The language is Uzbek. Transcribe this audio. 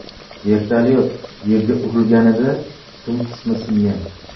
Vertolyot yerga urilganida dum qismi singan.